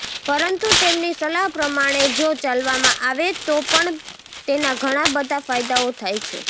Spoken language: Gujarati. પરંતુ તેમની સલાહ પ્રમાણે જો ચાલવામાં આવે તો પણ તેના ઘણા બધા ફાયદાઓ થાય છે